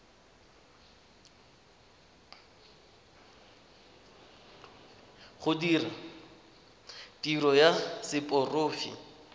go dira tiro ya seporofe